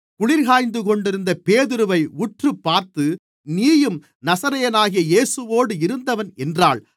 குளிர்க்காய்ந்துகொண்டிருந்த பேதுருவை உற்றுப்பார்த்து நீயும் நசரேயனாகிய இயேசுவோடு இருந்தவன் என்றாள்